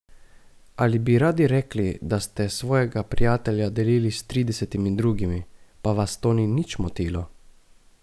Ali bi radi rekli, da ste svojega prijatelja delili s tridesetimi drugimi, pa vas to ni nič motilo?